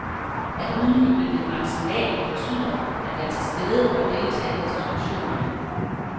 At udnytte det maksimalt betyder, at være til stede og deltage i diskussionerne.